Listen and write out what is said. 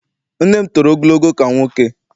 Nne m toro ogologo ka nwoke.